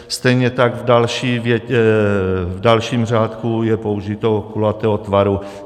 Stejně tak v dalším řádku je použito "kulatého tvaru".